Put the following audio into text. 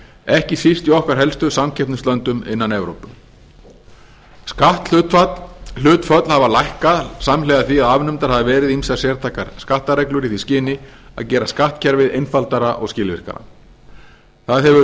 ekki síst í okkar helstu samkeppnislöndum innan evrópu skatthlutföll hafa lækkað samhliða því að afnumdar hafa verið ýmsar sértækar skattareglur í því skyni að gera skattkerfið einfaldara og skilvirkara það hefur